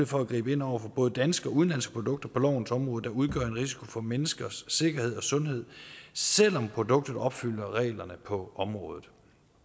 for at gribe ind over for både danske og udenlandske produkter på lovens område der udgør en risiko for menneskers sikkerhed og sundhed selv om produktet opfylder reglerne på området